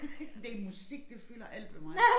En del musik det fylder alt ved mig